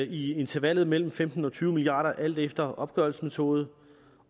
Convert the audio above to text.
i intervallet mellem femten og tyve milliard kr alt efter opgørelsesmetode